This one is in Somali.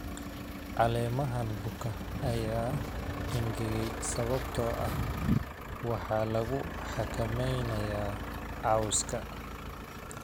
Caleemahan buka ayaa engegay sababtoo ah waxaa lagu xakameynayaa cawska.